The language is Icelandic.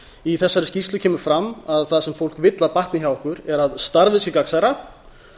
í þessari skýrslu kemur fram að það sem fólk vill að batni hjá okkur er að starfið sé gagnsærra